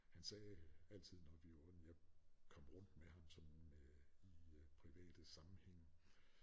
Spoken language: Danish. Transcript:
Han sagde altid når vi jo kom rundt med ham sådan øh i øh private sammenhænge